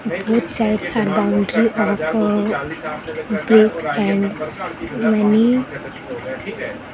both sides are boundary of a bricks and many --